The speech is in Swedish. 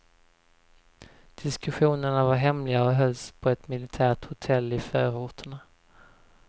Diskussionerna var hemliga och hölls på ett militärt hotell i förorterna.